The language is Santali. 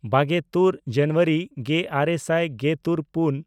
ᱵᱟᱜᱮᱼᱛᱩᱨ ᱡᱟᱱᱩᱣᱟᱨᱤ ᱜᱮᱼᱟᱨᱮ ᱥᱟᱭ ᱜᱮᱛᱩᱨᱼᱯᱩᱱ